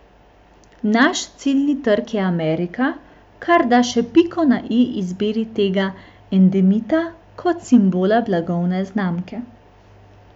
Naš ciljni trg je Amerika, kar da še piko na i izbiri tega endemita kot simbola blagovne znamke.